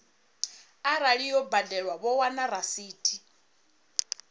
arali yo badelwa vho wana rasithi